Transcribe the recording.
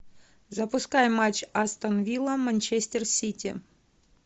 запускай матч астон вилла манчестер сити